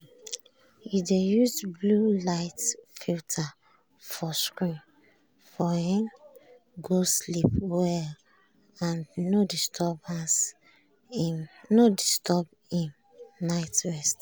e dey use blue-light filter for screen so e um go sleep well and no disturb im night rest.